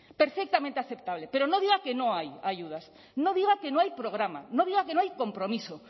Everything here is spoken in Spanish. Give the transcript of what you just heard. perfectamente aceptable pero no diga que no hay ayudas no diga que no hay programa no diga que no hay compromiso